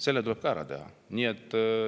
See tuleb ka ära teha.